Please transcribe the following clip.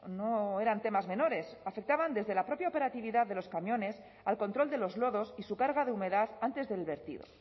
no eran temas menores afectaban desde la propia operatividad de los camiones al control de los lodos y su carga de humedad antes del vertido